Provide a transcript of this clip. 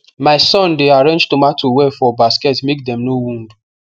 my son dey arrange tomato well for basket make dem no wound